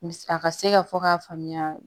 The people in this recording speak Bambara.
Mis a ka se ka fɔ k'a faamuya